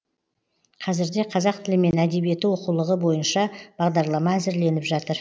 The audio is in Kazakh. қазірде қазақ тілі мен әдебиеті оқулығы бойынша бағдарлама әзірленіп жатыр